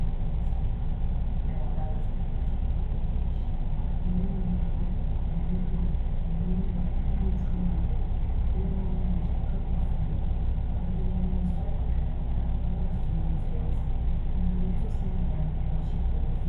Mw'isoko nahantu hari ivyamwa vy'ubwoko bwinshi, hariyo imyembe, imihwi, indimu n'imicungwe, iyo abantu bashaka gusuma baragenda mw'isoko bakavayo basumye vyose, nahantu uzosangayo abantu benshi gose.